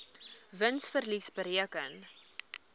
wins verlies bereken